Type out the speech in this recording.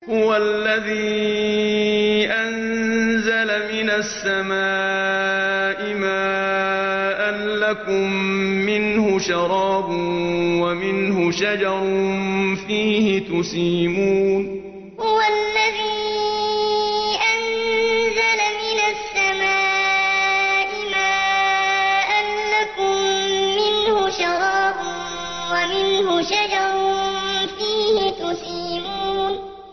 هُوَ الَّذِي أَنزَلَ مِنَ السَّمَاءِ مَاءً ۖ لَّكُم مِّنْهُ شَرَابٌ وَمِنْهُ شَجَرٌ فِيهِ تُسِيمُونَ هُوَ الَّذِي أَنزَلَ مِنَ السَّمَاءِ مَاءً ۖ لَّكُم مِّنْهُ شَرَابٌ وَمِنْهُ شَجَرٌ فِيهِ تُسِيمُونَ